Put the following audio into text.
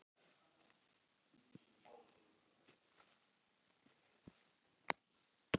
Þeir héldu fyrst að þetta væri kannski